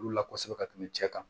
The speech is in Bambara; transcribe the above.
Olu la kosɛbɛ ka tɛmɛ cɛ kan